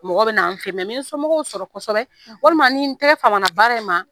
Mɔgɔ bɛ n'an fɛ yen ni n ye sɔmɔgɔw sɔrɔ kosɛbɛ walima ni n tɛgɛ famana baara in ma